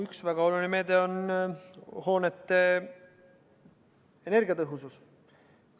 Üks väga oluline meede on seotud hoonete energiatõhususega.